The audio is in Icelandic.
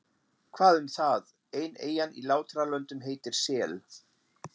Hvað um það, ein eyjan í Látralöndum heitir Sel.